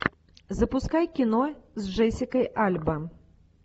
запускай кино с джессикой альба